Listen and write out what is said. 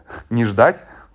не ждать